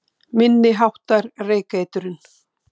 Minni háttar reykeitrun